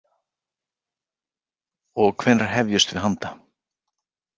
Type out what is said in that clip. Og hvenær hefjumst við handa?